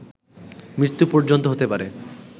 মৃত্যু পর্যন্ত হতে পারে